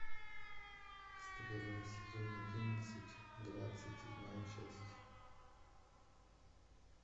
стрела сезон одиннадцать двадцать седьмая часть